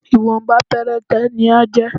Ìwọ̀nba péréte ni á jẹ́